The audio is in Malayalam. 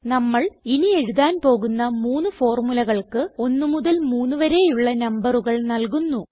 നമ്മൾ ഇനി എഴുതാൻ പോകുന്ന മൂന്ന് ഫോർമുലകൾക്ക് 1 മുതൽ 3 വരെയുള്ള നമ്പറുകൾ നല്കുന്നു